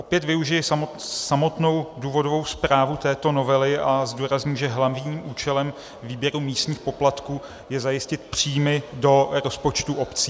Opět využiji samotnou důvodovou zprávu této novely a zdůrazním, že hlavním účelem výběru místních poplatků je zajistit příjmy do rozpočtu obcí.